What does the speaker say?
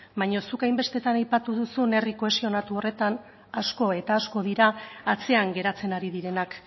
baina zuk hainbestetan aipatu duzun herri kohesionatu horretan asko eta asko dira atzean geratzen ari direnak